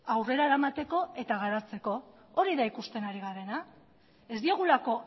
aurrera eramateko eta garatzeko hori da ikusten ari garena ez diogulako